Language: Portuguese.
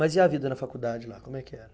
Mas e a vida na faculdade lá, como é que era?